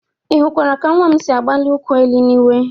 Ị hụkwara ka nwa m siri agbalị ụkwụ n'elu n'iwe?